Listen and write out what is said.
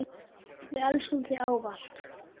Við elskum þig ávallt.